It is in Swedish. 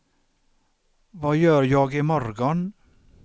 vad gör jag imorgon